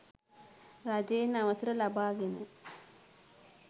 රජයෙන් අවසර ලබාගෙන